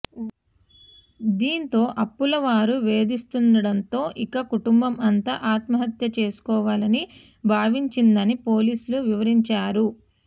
దీంతో అప్పుల వారు వేధిస్తుండటంతో ఇక కుటుంబం అంతా ఆత్మహత్య చేసుకోవాలని భావించిందని పోలీసులు వివరించారు